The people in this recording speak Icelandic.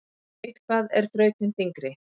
Eitthvað er þrautin þyngri